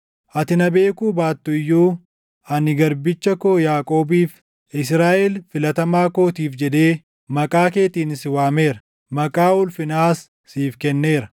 Ati na beekuu baattu iyyuu, ani garbicha koo Yaaqoobiif, Israaʼel filatamaa kootiif jedhee maqaa keetiin si waameera; maqaa ulfinaas siif kenneera.